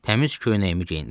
Təmiz köynəyimi geyindim.